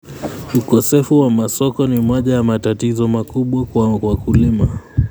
Ukosefu wa masoko ni moja ya matatizo makubwa kwa wakulima.